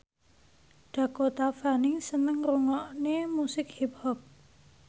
Dakota Fanning seneng ngrungokne musik hip hop